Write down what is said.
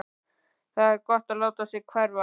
Það var gott að láta sig hverfa.